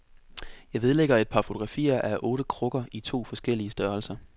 Jeg vedlægger et par fotografier af otte krukker i to forskellige størrelser.